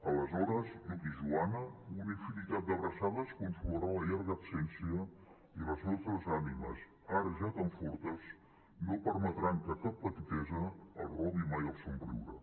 aleshores lluc i joana una infinitat d’abraçades consolarà la llarga absència i les nostres ànimes ara ja tan fortes no permetran que cap petitesa els robi mai el somriure